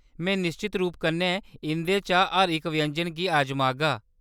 में निश्चत रूप कन्नै इंʼदे चा हर इक व्यंजन गी अजमागा।